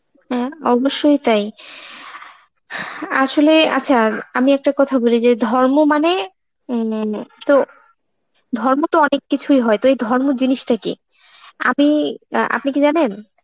হ্যাঁ অবশ্যই তাই, এআআ আসলে~ আচ্ছা আমি একটা কথা বলি যে, ধর্ম মানে , তো ধর্ম তো অনেক কিছুই হয়, তো এই ধর্ম জিনিসটা কি? আমি~ অ্যাঁ আপনি কি জানেন?